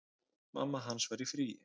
Mamma hans var í fríi.